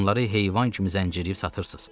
Adamları heyvan kimi zəncirliyib satırsız.